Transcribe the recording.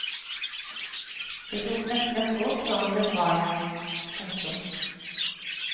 Det tok nesten ett år før hun ble bra igjen. punktum